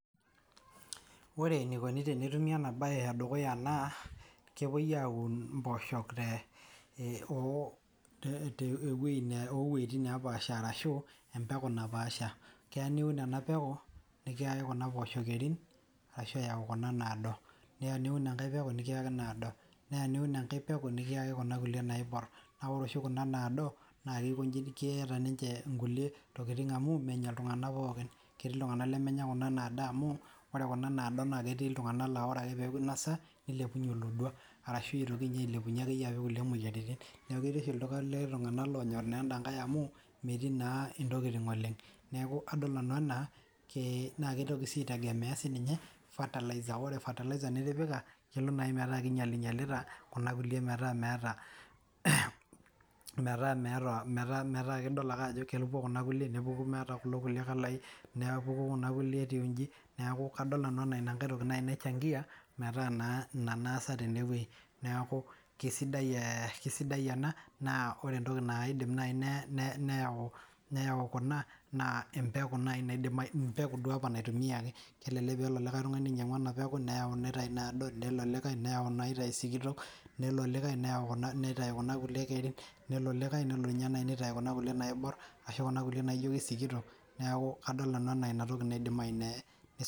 Ore eneikuni tenetumi ena baye ee dukuya naa kepoi aayau impoosho oo weitin naapash arashu empeku napaasha keya niun ena peku nikiyaki kuna poosho kerin arashuu eyau kuna naado neya niun enkae peku nikiyaki inaado neya niun enkae peku nikiyaki kuna kulie naiborr naa ore oshi kuna naado naa keeta ninche inkulie tokiting' amu menya iltung'anak pookin ketii iltung'anak lemenya kuna naado amu oree kuna naado naa ketii iltung'anak laa ore ake peeku einasa neilepunye olodua arashu eitoki ailepunye ake iye kulie moyiaritin neeku keeti oshi iltung'anak oonyoor enda nkae amuu metii naa intokiting oleng' neeku kadol nanu enaa naa keitoki sii aitegemea sininye fertilizer ore fertilizer nitipika kelo nayii metaa keinyalinyalita kuna kulie metaa meeta idol ake ajo kepuo kuna kulie nepuku meeta kulo kulie kalaii nepuku kuna kulie etiu inji neeku kadol nanu enaa ina nkae toki naaji naichangia metaa naa ina naasa tene weji neeku kesidai enaa naa ore entoki naidim naii neyau Kuna naa empeku nayi naidim empeku duo apa naitumiaki kelelek peelo likaw tung'ani ainyang'u ena peku neyau omeitayu inaado nelo olikae neyau inaitayu isikitok nelo olikae neyau kuna kulie kerin nelo olikae nelo nye naaai neitayu kuna kulie naaiborr ashu kuna kulie najo kesikitok neeku kadol nanu enaa inatoki nayii naidim nei.